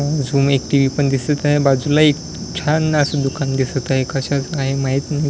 समोर टी_व्ही पण दिसत आहे बाजूला एक छान अस दुकान दिसत आहे कशाचं काय माहित नाही?